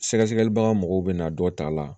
Sɛgɛsɛgɛli baga mɔgɔw bɛ na dɔ ta la